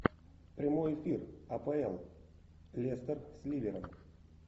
прямой эфир апл лестер с ливером